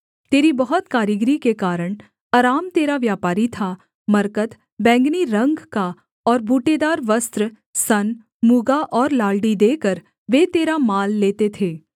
तेरी बहुत कारीगरी के कारण अराम तेरा व्यापारी था मरकत बैंगनी रंग का और बूटेदार वस्त्र सन मूगा और लालड़ी देकर वे तेरा माल लेते थे